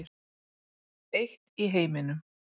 Eitt í heiminum.